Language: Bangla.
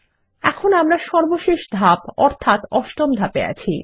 এখন আমরা সর্বশেষ ধাপ অর্থাত অষ্টম ধাপে আছি